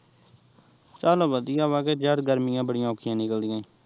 ਚੱਲ ਵਧੀਆ ਵਾਂ ਕਿ ਯਰ ਗਰਮੀਆ ਬੜੀਆ ਔਖੀਆ ਨਿਕਲਦੀਂਆ